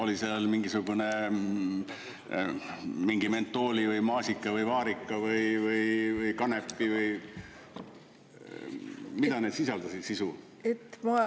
Oli seal mingisugune mingi mentooli või maasika või vaarika või kanepi või mida need sisaldasid sisu?